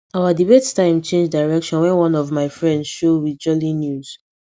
our debate time change direction wen one of my friend show with jolly newz